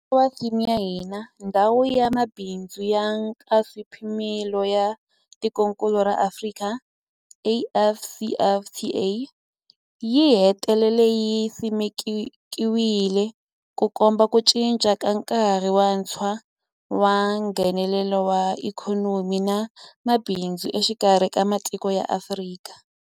Hi nkarhi wa theme ya hina, Ndhawu ya Mabindzu ya Nkaswipimelo ya Tikokulu ra Afrika, AfCFTA yi hetelele yi simekiwile, Ku komba ku cinca ka nkarhi wuntshwa wa Nghenelelano wa ikhonomi na mabindzu exikarhi ka matiko ya Afrika.